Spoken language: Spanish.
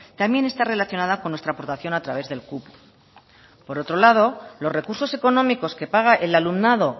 también está relacionada con nuestra aportación a través del cupo por otro lado los recursos económicos que paga el alumnado